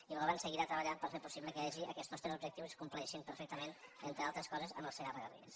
i el govern seguirà treballant per fer possible que hi hagi aquests tres objectius i es compleixin perfectament entre altres coses amb el segarra garrigues